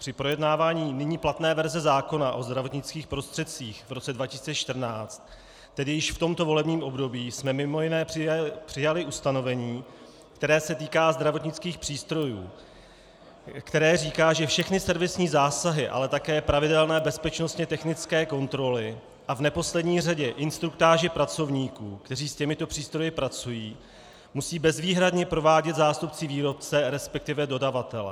Při projednávání nyní platné verze zákona o zdravotnických prostředcích v roce 2014, tedy již v tomto volebním období, jsme mimo jiné přijali ustanovení, které se týká zdravotnických přístrojů, které říká, že všechny servisní zásahy, ale také pravidelné bezpečnostně-technické kontroly a v neposlední řadě instruktáže pracovníků, kteří s těmito přístroji pracují, musí bezvýhradně provádět zástupci výrobce, respektive dodavatele.